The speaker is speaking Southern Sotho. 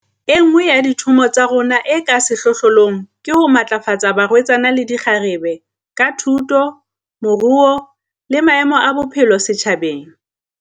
E nngwe ya dithomo tsa rona e ka sehlohlong ke ho matlafatsa barwetsana le dikgarebe, ka thuto, moruo le maemo a bophelo setjhabeng.